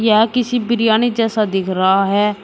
यह किसी बिरयानी जैसा दिख रहा है।